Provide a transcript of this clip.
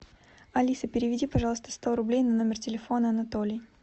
алиса переведи пожалуйста сто рублей на номер телефона анатолий